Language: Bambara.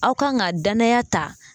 Aw kan ka danaya ta